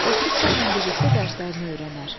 Oturub sənlə birlikdə dərslərini öyrənər.